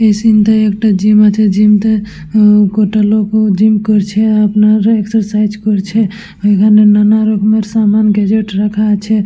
এই সিন তাই একটা জিম আছে জিম টা কটা লোক জিম করছে আর আপনার এক্সারসাইজ করছে আর নানারকম সমান গ্যাজেট রাখা আছে।